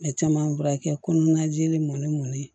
N bɛ caman furakɛ kɔnɔnajeli mɔni mɔnen